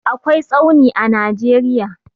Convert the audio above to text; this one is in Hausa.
akwai tsauni a nageria